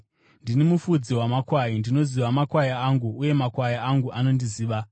“Ndini mufudzi wamakwai; ndinoziva makwai angu uye makwai angu anondiziva,